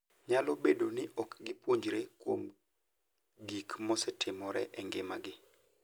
Nyalo bedo ni ok gipuonjre kuom gik mosetimore e ngimagi.